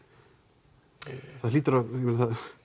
mjög